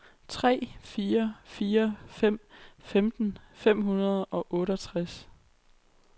tre fire fire fem femten fem hundrede og otteogtres